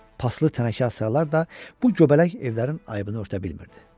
Paslı tənəkə hasarlar da bu göbələk evlərin aybını örtə bilmirdi.